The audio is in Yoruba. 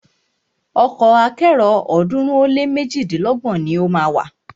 Ọkọ̀ akẹ́rò ọ̀ọ́dúnrún ó lé méjidínlọ́gbọ̀n ni o má a wà.